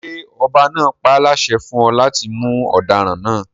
Ṣé ọba náà páláṣẹ fún ọ láti mú ọdaràn náà?